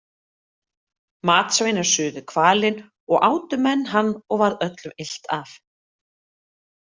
Matsveinar suðu hvalinn og átu menn hann og varð öllum illt af.